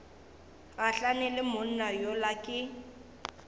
gahlane le monna yola ke